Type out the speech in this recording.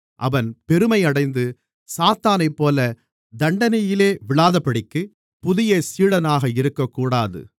அவன் பெருமை அடைந்து சாத்தானைப்போல தண்டனையிலே விழாதபடிக்கு புதிய சீடனாக இருக்கக்கூடாது